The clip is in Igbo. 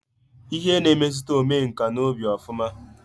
Ịhe na-emetụta omenkà n'obi ọfụma